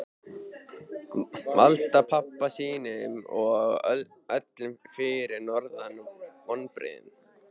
Valda pabba sínum og öllum fyrir norðan vonbrigðum.